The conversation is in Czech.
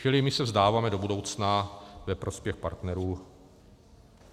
Čili my se vzdáváme do budoucna ve prospěch partnerů.